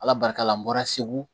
Ala barika la n bɔra segu